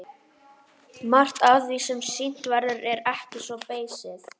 Margt af því sem sýnt verður er ekki svo beysið.